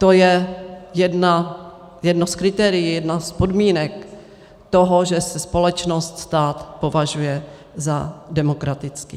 To je jedno z kritérií, jedna z podmínek toho, že se společnost, stát považuje za demokratický.